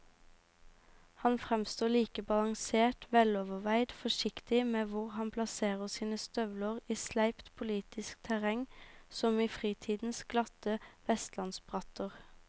Han fremstår like balansert veloverveid forsiktig med hvor han plasserer sine støvler i sleipt politisk terreng som i fritidens glatte vestlandsbratter.